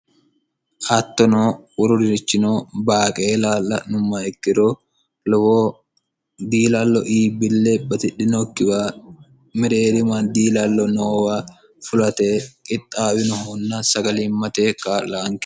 hattono woruririchino baaqeela la'nummha ikkiro lowo diilallo iibille batidhinokkiwa mereerima diilallo noowa fulate qixxaawinohunna sagaliimmate ka'laanke